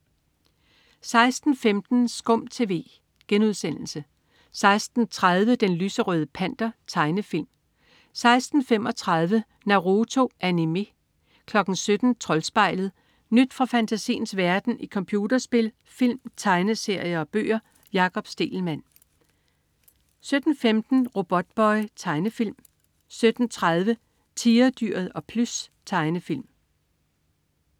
16.15 SKUM TV* 16.30 Den lyserøde Panter. Tegnefilm 16.35 Naruto. Animé 17.00 Troldspejlet. Nyt fra fantasiens verden i computerspil, film, tegneserier og bøger. Jakob Stegelmann 17.15 Robotboy. Tegnefilm 17.30 Tigerdyret og Plys. Tegnefilm